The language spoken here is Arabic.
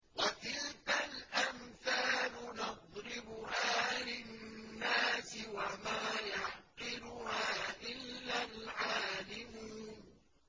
وَتِلْكَ الْأَمْثَالُ نَضْرِبُهَا لِلنَّاسِ ۖ وَمَا يَعْقِلُهَا إِلَّا الْعَالِمُونَ